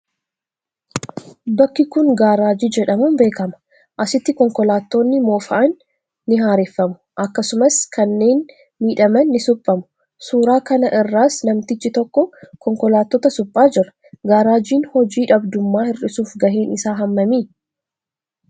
Bakki kun gaaraajii jedhamuun beekama. Asitti konkolaattonni moofa'an ni haareffamu. Akkasumas, kanneen miidhaman ni suphamu. suuraa kana irraas namtichi tokko konkolaattota suphaa jira. Gaaraajiin hoji dhabdummaa hir'suuf gaheen isaa hammami?